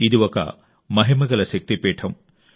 ఇది ఒక మహిమగల శక్తిపీఠం